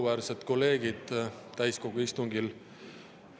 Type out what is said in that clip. Auväärsed kolleegid täiskogu istungil!